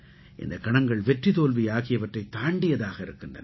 இந்தக் கணங்கள் வெற்றி தோல்வி ஆகியவற்றைத் தாண்டியதாக இருக்கின்றன